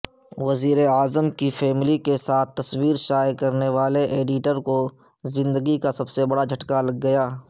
وزیراعظم کی فیملی کیساتھ تصویرشائع کرنیوالے ایڈیٹرکوزندگی کاسب سے بڑاجھٹکا لگ گیا